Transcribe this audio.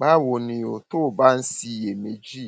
báwo ni o tó o bá ń ṣiyèméjì